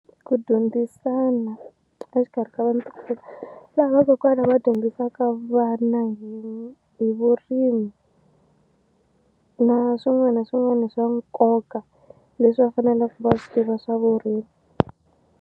Ku dyondzisana exikarhi ka vana laha vakokwana va dyondzisaka vana hi hi vurimi na swin'wani na swin'wani swa nkoka leswi va fanelaku va swi tiva swa vurimi.